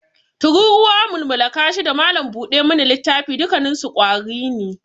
Tururuwa, mulmula kashi, da malam buda mana littafi dukkanninsu ƙwari ne.